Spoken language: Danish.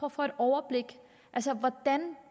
at få et overblik altså